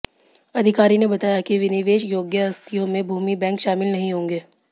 अधिकारी ने बताया कि विनिवेश योग्य आस्तियों में भूमि बैंक शामिल नहीं होंगे